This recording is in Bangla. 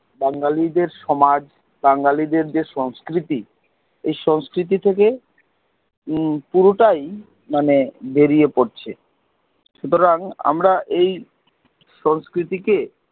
বাঙ্গালীদের সমাজ বাঙ্গালীদের যে সংস্কৃতি ঐ সংস্কৃতি থেকে পূরটাই মানে বেরিয়ে পড়ছে, সুতরাং আমরা এই সংস্কৃতি কে